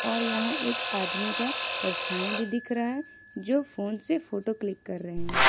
और यहां एक आदमी का परछाई भी दिख रहा है जो फोन से फोटो क्लिक कर रहे हैं।